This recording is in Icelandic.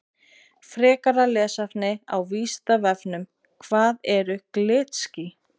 Frekara lesefni á Vísindavefnum Hvað eru glitský?